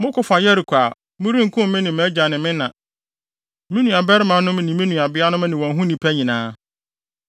moko fa Yeriko a, morenkum me ne mʼagya ne me na, me nuabarimanom ne nuabeanom ne wɔn ho nnipa nyinaa.”